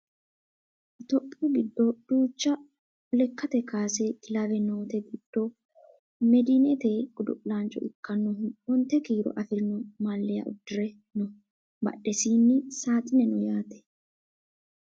itiyophiyu giddo duucha lekkate kaase kilawe noote giddo medinete godo'laancho ikkinohu onte kiiro afirino maaliya uddire no badhesiinni saaxine no yaate